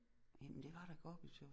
Hvem det var da Gorbatjov